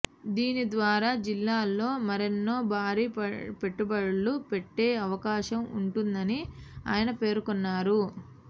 దీని ద్వారా జిల్లాలో మరెన్నో భారీ పెట్టుబడులు పెట్టే అవకాశం ఉంటుందని ఆయన పేర్నొన్నారు